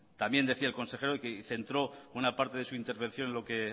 también decía el consejero que centró una parte de su intervención en lo que